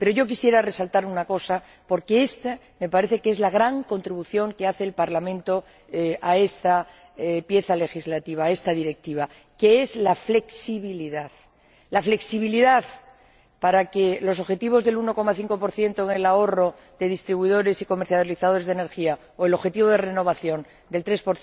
Pero yo quisiera resaltar una cosa, porque me parece que es la gran contribución que hace el Parlamento a esta pieza legislativa, a esta Directiva, a saber, la flexibilidad la flexibilidad para los objetivos del 1,5 en el ahorro de distribuidores y comercializadores de energía, o el objetivo de renovación del 3